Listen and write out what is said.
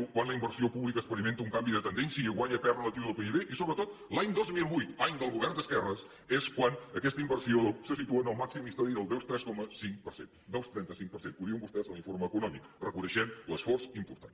un quan la inversió pública experimenta un canvi de tendència i guanya pes relatiu del pib i sobretot l’any dos mil vuit any del govern d’esquerres és quan aquesta inversió se situa en el màxim històric del dos coma trenta cinc per cent dos coma trenta cinc per cent ho diuen vostès en l’informe econòmic reconeixent l’esforç important